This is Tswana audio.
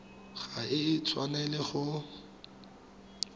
ga e a tshwanela go